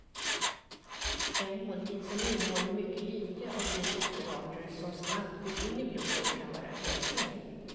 En måltid som innehåller mycket lite av de sockerarter som snabbt går in i blodet kan vara en lösning.